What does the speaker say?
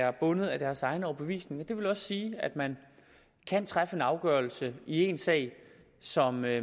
er bundet af deres egen overbevisning det vil også sige at man kan træffe en afgørelse i én sag som er